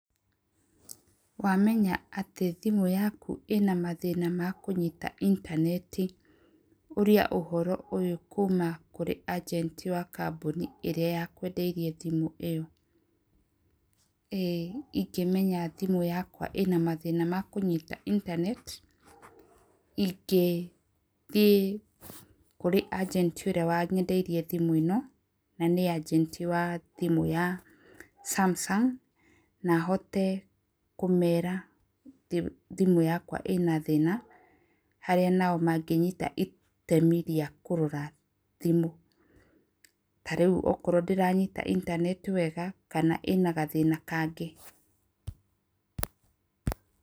Wamenya atĩ thimũ yaku ĩna mathĩna ma kũnyita intaneti. Ũria ũhoro ũyũ kuuma kũrĩ ajenti wa kambuni ĩrĩa yakwendeirie thimũ ĩyo. Ingĩmenya thimũ yakwa ĩna mathĩna ma kũnyita internet, ingĩthiĩ kũrĩ ajenti ũrĩa wanyendeirie thimũ ĩno, na nĩ ajenti wa thimũ ya Samsung, na hote kũmeera thimũ yakwa ĩna thĩna, harĩa nao mangĩnyita itemi rĩa kũrora thimũ. Ta rĩu okorwo ndĩranyita internet wega, kana ĩna gathĩna kangĩ.